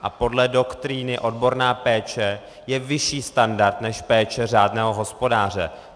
A podle doktríny odborná péče je vyšší standard než péče řádného hospodáře.